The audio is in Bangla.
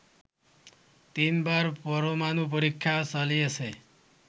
তিনবার পরমাণু পরীক্ষা চালিয়েছে